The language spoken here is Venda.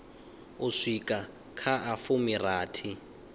u swika kha a fumirathi